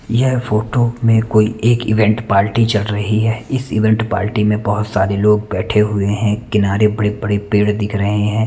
यह फोटो में कोई एक इवेंट पार्टी चल रही है इस इवेंट पार्टी में बहुत सारे लोग बेठे हुए हैं किनारे बड़े बड़े पेड़ दिख रहे हैं।